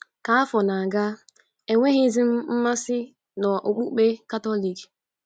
Ka afọ na-aga, enweghịzi m mmasị n’Okpukpe Katọlik.